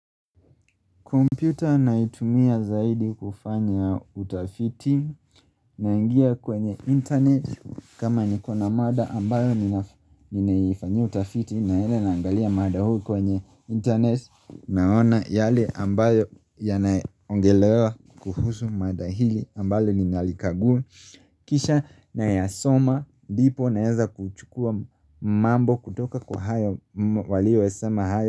Kompyuta naitumia zaidi kufanya utafiti naingia kwenye internet kama niko na mada ambayo ninaf ninaifanyia utafiti naenda nangalia mada hu kwenye internet naona yale ambayo yanaongelewa kuhusu mada hili ambayo ninalikagua. Kisha nayasoma dipo naenza kuchukua mambo kutoka kwa hayo walioyasema hayo.